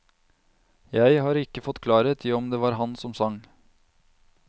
Jeg har ikke fått klarhet i om det var han som sang.